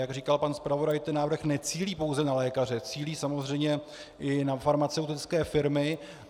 Jak říkal pan zpravodaj, ten návrh necílí pouze na lékaře, cílí samozřejmě i na farmaceutické firmy.